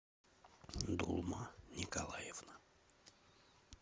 дулма николаевна